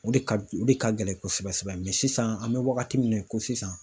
O de ka o de ka gɛlɛn kosɛbɛ sɛbɛ sisan an bɛ wagati min na i ko sisan